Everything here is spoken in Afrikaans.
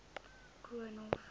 koornhof